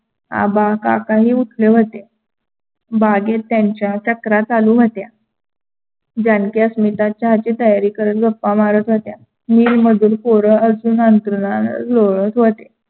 आबा काकाही उठले होते बागेत त्यांच्या चक्कारा चालू होत्या. जानकी अस्मिता चहाची तयारी करत गप्पा मारत होत्या. नील मधुर पोर अजून अंथरुणाने लोडत होते.